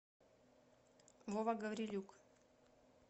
вова гаврилюк